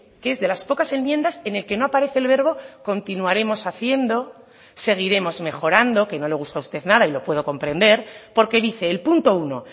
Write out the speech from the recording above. que es de las pocas enmiendas en el que no aparece el verbo continuaremos haciendo seguiremos mejorando que no le gusta a usted nada y lo puedo comprender porque dice el punto uno